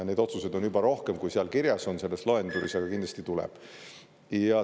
Neid otsused on juba rohkem, kui selles loendis kirjas on, aga kindlasti tuleb.